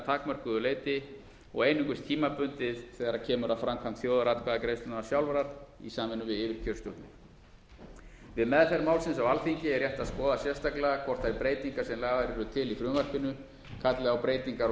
takmörkuðu leyti og einungis tímabundið þegar kemur að framkvæmd þjóðaratkvæðagreiðslunnar sjálfrar í samvinnu við yfirkjörstjórnir við meðferð málsins á alþingi er rétt að skoða sérstaklega hvort þær breytingar sem lagðar eru til í frumvarpinu kalli á breytingar á